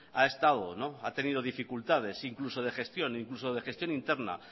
ha estado ha tenido dificultades incluso de gestión incluso de gestión interna